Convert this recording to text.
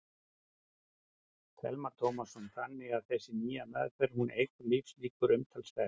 Telma Tómasson: Þannig að þessi nýja meðferð, hún eykur lífslíkurnar umtalsvert?